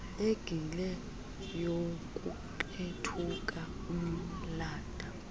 engile youkuqethuka umnatha